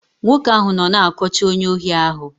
Nwoke ahụ nọ na-akọcha onye ohi ahụ.